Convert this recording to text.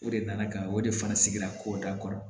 O de nana ka na o de fana sigira ko da kɔrɔ